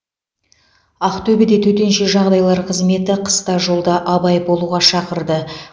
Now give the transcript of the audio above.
ақтөбеде төтенше жағдайлар қызметі қыста жолда абай болуға шақырды